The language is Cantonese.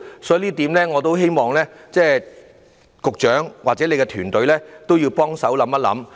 所以，就這一點，我希望局長或其團隊要幫忙多加思考。